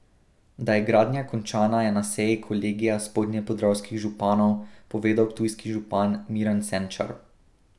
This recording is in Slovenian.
Da je gradnja končana je na seji kolegija spodnje podravskih županov povedal ptujski župan Miran Senčar.